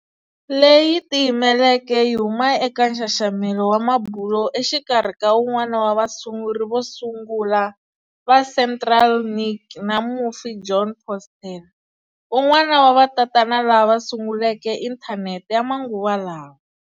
Leyi tiyimeleke yi huma eka nxaxamelo wa mabulo exikarhi ka un'wana wa vasunguri vo sungula va CentralNic na mufi Jon Postel, un'wana wa vatatana lava sunguleke Inthanete ya manguva lawa.